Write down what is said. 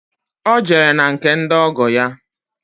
Ọ jere na nke ndị ọgọ ya